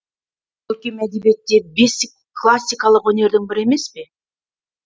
көркем әдебиет те бес классикалық өнердің бірі емес пе